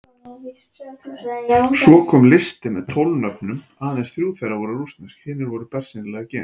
Svo kom listi með tólf nöfnum, aðeins þrjú þeirra voru rússnesk, hinir voru bersýnilega Gyðingar.